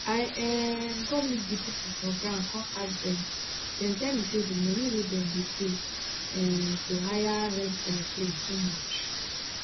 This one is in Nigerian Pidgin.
i um go meet di pipo for ground kon ask dem dem tell me say di money wey dem dey pay um to hire rent aeroplane too much